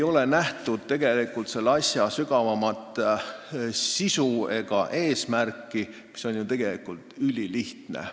Tegelikult ei ole nähtud asja sügavamat sisu ega eesmärki, mis on ju ülilihtne.